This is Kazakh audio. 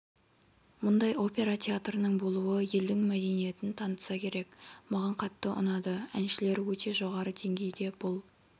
мұндай опера театрының болуы елдің мәдениетін танытса керек маған қатты ұнады әншілері өте жоғары деңгейде бұл